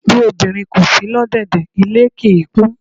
Bí obìnrin kò si lọ́dẹ́dẹ̀, ilé kì í kún.